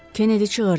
Kennedy çığırdı.